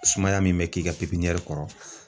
Sumaya min bɛ k'i ka kɔrɔ